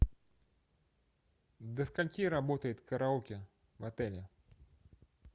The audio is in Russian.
до скольки работает караоке в отеле